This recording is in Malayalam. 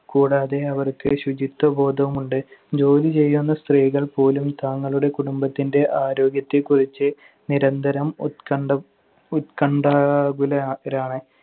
കൂടാതെ അവർക്ക് ശുചിത്വബോധവും ഉണ്ട്. ജോലി ചെയ്യുന്ന സ്ത്രീകൾ പോലും തങ്ങളുടെ കുടുംബത്തിന്‍റെ ആരോഗ്യത്തെക്കുറിച്ച് നിരന്തരം ഉത്കണ്ഠം~ ഉത്കണ്ഠാകുലരാണ്.